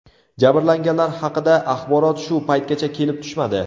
Jabrlanganlar haqida axborot shu paytgacha kelib tushmadi.